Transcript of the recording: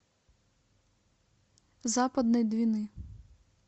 западной двины